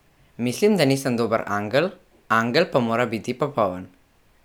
Mislim, da nisem dober angel, angel pa mora biti popoln.